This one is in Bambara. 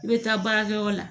I bɛ taa baarakɛyɔrɔ la